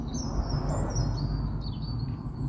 kallade